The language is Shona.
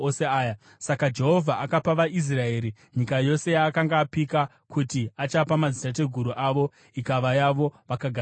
Saka Jehovha akapa vaIsraeri nyika yose yaakanga apika kuti achapa madzitateguru avo, ikava yavo vakagara mairi.